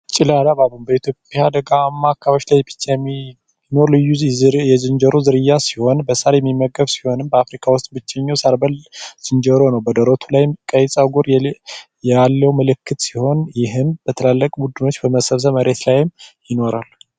ጭላዳ ባቡን በኢትዮጵያ ደጋማ አካባቢዎች ላይ ብቻ የሚኖር ዝርያ ዝንጀሮ ዝርያ ሲሆን፤ በሳር የሚያቀርብ ሲሆን በአፍሪካ ውስጥ ብቸኛው ሰበር ጆሮ ነው። በደረቱ ላይም ቀይ ጸጉር ያለው ምልክት ሲሆን ፤ ይህም ትልቅ ቡድኖች በመሰማራት መሬት ላይም ይኖራሉ።